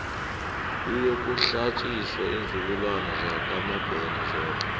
kuyokuhlatjiswa iinzukulwana zakwamabena zodwa